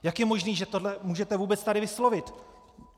Jak je možné, že tohle můžete vůbec tady vyslovit?